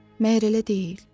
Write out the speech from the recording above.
Məyər elə deyil?